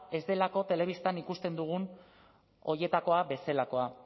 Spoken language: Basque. ez delako telebistan ikusten dugun horietakoa bezalakoa